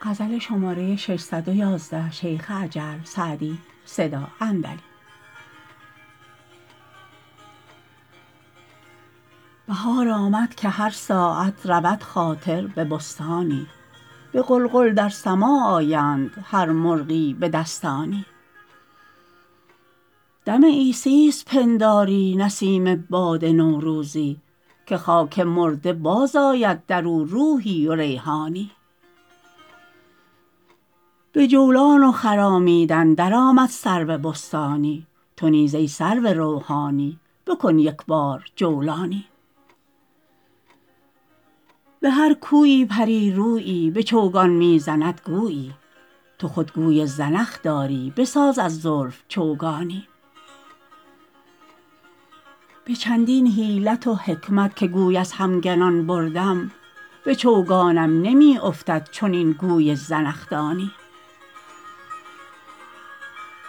بهار آمد که هر ساعت رود خاطر به بستانی به غلغل در سماع آیند هر مرغی به دستانی دم عیسیست پنداری نسیم باد نوروزی که خاک مرده باز آید در او روحی و ریحانی به جولان و خرامیدن در آمد سرو بستانی تو نیز ای سرو روحانی بکن یک بار جولانی به هر کویی پری رویی به چوگان می زند گویی تو خود گوی زنخ داری بساز از زلف چوگانی به چندین حیلت و حکمت که گوی از همگنان بردم به چوگانم نمی افتد چنین گوی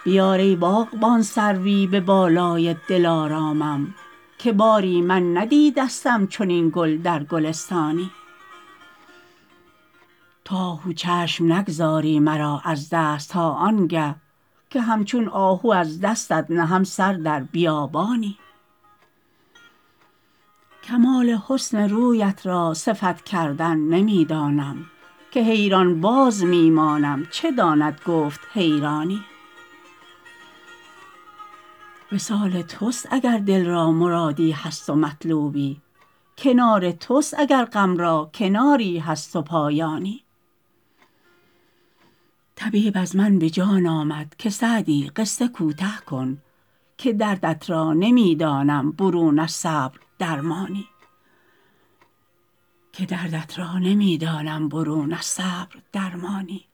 زنخدانی بیار ای باغبان سروی به بالای دلارامم که باری من ندیدستم چنین گل در گلستانی تو آهو چشم نگذاری مرا از دست تا آن گه که همچون آهو از دستت نهم سر در بیابانی کمال حسن رویت را صفت کردن نمی دانم که حیران باز می مانم چه داند گفت حیرانی وصال توست اگر دل را مرادی هست و مطلوبی کنار توست اگر غم را کناری هست و پایانی طبیب از من به جان آمد که سعدی قصه کوته کن که دردت را نمی دانم برون از صبر درمانی